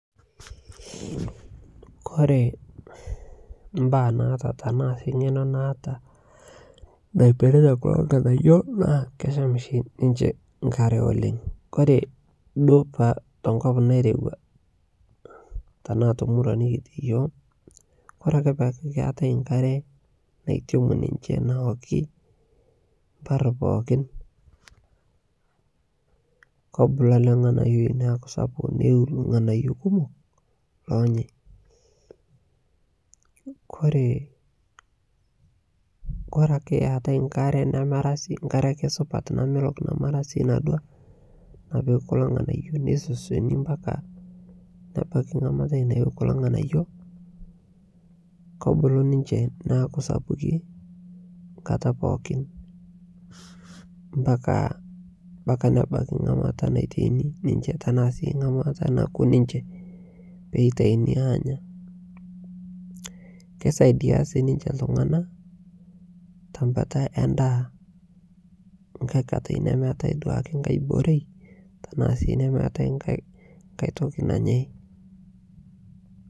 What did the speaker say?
kore mbaa naata tanaa sii ngenoo naata naipiritaa kuloo nghanayo naa kesham shi ninshee nkaree oleng. Kore duo tonkop nairewaa tanaa te nkop nikitii yooh kore akee peaku keatai nkaree naitemuu ninjee nowokii mpar pookin kobuluu alee nghanayoi naaku sapuk neyiu lghanayoo kumok lonyaai. Kore ake eatai nkare namaraa sii nkaree akee namelok namara sii nadua napikii kuloo nghanayoo neisosionii mpakaa nebakii nkataa nayie kuloo nghanayoo kobuluu ninchee naaku sapukin nkataa pookin mpakaa nebakii nghamataa naitainii ninshee tanaa sii nghamata nakuu ninshee peitainii anyaa, Keisaidia sii ninshee ltunganaa te mbataa ee ndaa nghai katai duake nemeatai ghai borei tanaa sii nghai tokii nanyai.